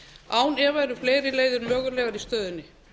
án efa eru fleiri leiðir mögulegar í stöðunni